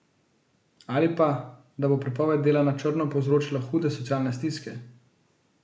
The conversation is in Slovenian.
Ali pa, da bo prepoved dela na črno povzročila hude socialne stiske?